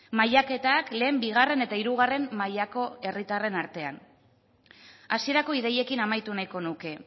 mailaketak lehen bigarren eta hirugarren mailako herritarren artean hasierako ideiekin amaitu nahiko nuke